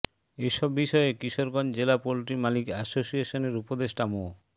এসব বিষয়ে কিশোরগঞ্জ জেলা পোলট্রি মালিক অ্যাসোসিয়েশনের উপদেষ্টা মো